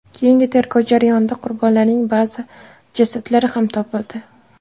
Keyingi tergov jarayonida qurbonlarning ba’zi jasadlari ham topildi.